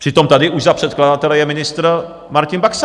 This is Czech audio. Přitom tady už za předkladatele je ministr Martin Baxa.